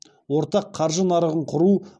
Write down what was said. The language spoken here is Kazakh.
ортақ қаржы нарығын құру